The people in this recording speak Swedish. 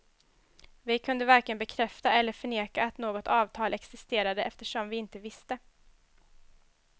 Vi kunde varken bekräfta eller förneka att något avtal existerade, eftersom vi inte visste.